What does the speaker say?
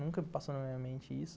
Nunca passou na minha mente isso.